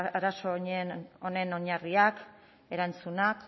arazo honen oinarriak erantzunak